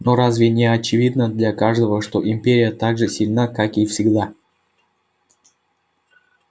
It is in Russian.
но разве не очевидно для каждого что империя так же сильна как и всегда